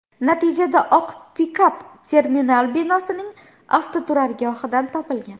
Natijada oq pikap terminal binosining avtoturargohidan topilgan.